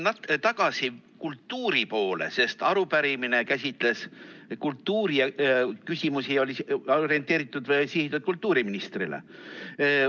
Ma tulen tagasi kultuuri poole, sest arupärimine käsitles kultuuriküsimusi ja oli sihitud kultuuriministrile.